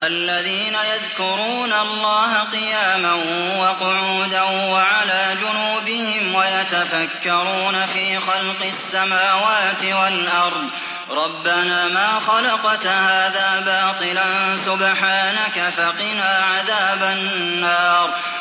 الَّذِينَ يَذْكُرُونَ اللَّهَ قِيَامًا وَقُعُودًا وَعَلَىٰ جُنُوبِهِمْ وَيَتَفَكَّرُونَ فِي خَلْقِ السَّمَاوَاتِ وَالْأَرْضِ رَبَّنَا مَا خَلَقْتَ هَٰذَا بَاطِلًا سُبْحَانَكَ فَقِنَا عَذَابَ النَّارِ